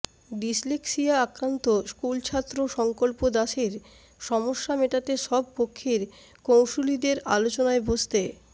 dyslexia আক্রান্ত স্কুলছাত্র সঙ্কল্প দাসের সমস্যা মেটাতে সব পক্ষের কৌঁসুলিদের আলোচনায় বসতে